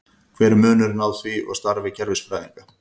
Hver er munurinn á því og starfi kerfisfræðinga?